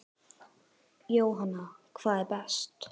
Jóhann: hvað er best?